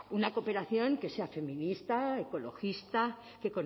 una cooperación que sea feminista ecologista que